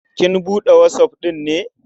Kin buɗe WhatsApp ɗin ne?